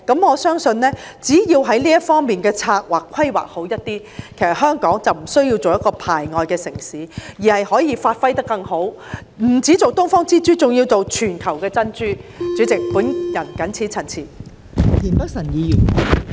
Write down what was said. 我相信只要在這方面規劃做好一點，其實香港便不需要成為一個排外的城市，而是可以發揮得更好，不只當"東方之珠"，還要做全球的珍珠。代理主席，我謹此陳辭。